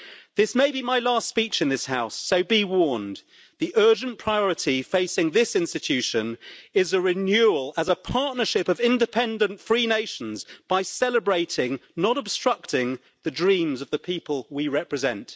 This may be my last speech in this House, so be warned. The urgent priority facing this institution is a renewal, as a partnership of independent free nations, by celebrating, not obstructing, the dreams of the people we represent.